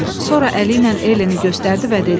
Sonra əli ilə Eleni göstərdi və dedi: